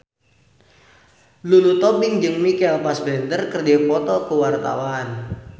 Lulu Tobing jeung Michael Fassbender keur dipoto ku wartawan